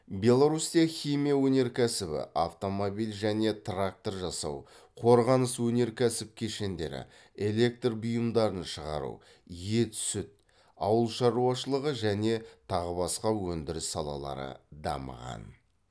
беларусьта химия өнеркәсібі автомобиль және трактор жасау қорғаныс өнеркәсіп кешендері электр бұйымдарын шығару ет сүт ауылшаруашылығы және тағы басқа өндіріс салалары дамыған